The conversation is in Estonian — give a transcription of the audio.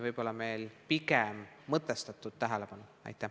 Aitäh!